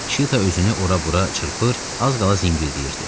Şita özünü ora-bura çırpır, az qala zingildəyirdi.